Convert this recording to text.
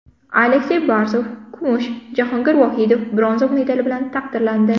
Aleksey Barsov kumush, Jahongir Vohidov bronza medal bilan taqdirlandi.